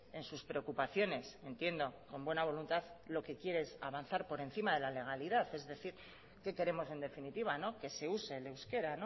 en sus preocupaciones entiendo con buena voluntad lo que quiere es avanzar por encima de la legalidad es decir qué queremos en definitiva que se use el euskera